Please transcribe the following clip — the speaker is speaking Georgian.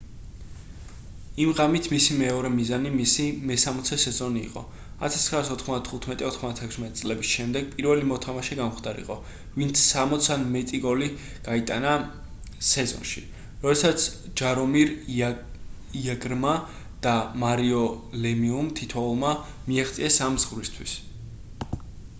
იმ ღამით მისი მეორე მიზანი მისი მე-60 სეზონი იყო 1995-96 წლების შემდეგ პირველი მოთამაშე გამხდარიყო ვინც 60 ან მეტი გოლი გაიტანა სეზონში როდესაც ჯარომირ იაგრმა და მარიო ლემიუმ თითოეულმა მიაღწიეს ამ ზღვრისთვის